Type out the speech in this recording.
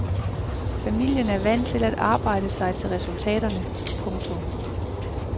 Familien er vant til at arbejde sig til resultaterne. punktum